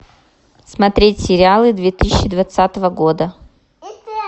смотреть сериалы две тысячи двадцатого года